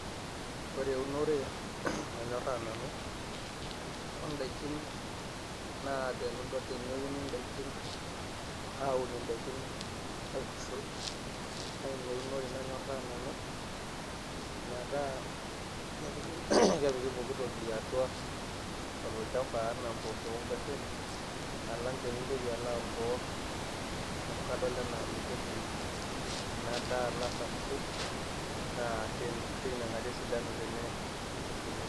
ore eunore nanyorraa nanu, ooh n'daikin naa teneuni n'daikin awun n'daikin aitushul, naa ina eunore nanyorraa nanu metaa kepiki [clears throught]kepiki pokitoki atua olchamba enaa mpoosho ooh nguashen alang tenintoki alo aworwor amu kadol anaa meitoki ina daa alo asapuku, naa tein teinekata esidaunu tene teneitushulu